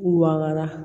Waga